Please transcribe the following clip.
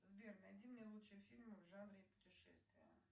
сбер найди мне лучшие фильмы в жанре путешествия